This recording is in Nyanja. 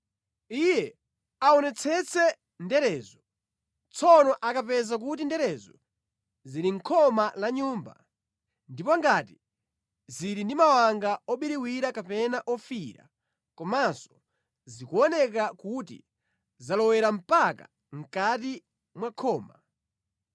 Iye aonetsetse nderezo. Tsono akapeza kuti nderezo zili mʼkhoma la nyumba, ndipo ngati zili ndi mawanga obiriwira kapena ofiirira, komanso zikuoneka kuti zalowerera mpaka mʼkati mwa khoma,